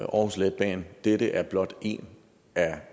aarhus letbane og dette er blot en af